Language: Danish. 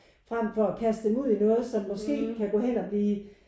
Frem for at kaste dem ud i noget som måske kan gå hen og blive